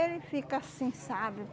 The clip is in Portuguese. Ele fica assim, sabe?